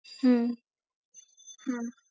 হম হম